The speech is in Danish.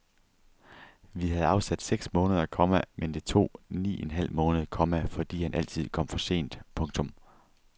Vi havde afsat seks måneder, komma men det tog ni en halv måned, komma fordi han altid kom for sent. punktum